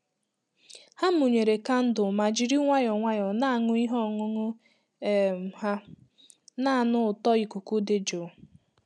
Ha mụnyere kandụl ma jiri nwayọọ nwayọọ na-aṅụ ihe ọṅụṅụ um ha, na-anụ ụtọ ikuku dị jụụ.